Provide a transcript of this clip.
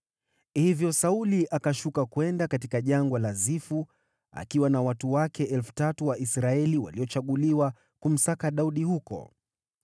Hivyo Sauli akashuka kwenda katika Jangwa la Zifu, akiwa na watu wake 3,000 wa Israeli waliochaguliwa, kumsaka Daudi huko.